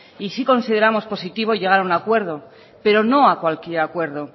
y sí consideramos positivos llegar a un acuerdo pero no a cualquier acuerdo